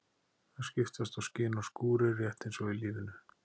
Það skiptast á skin og skúrir, rétt eins og í lífinu.